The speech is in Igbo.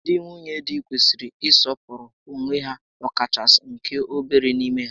Ndị nwunye di kwesịrị ị sọpụrụ onwe ha, ọkachasị nke obere n'ime ha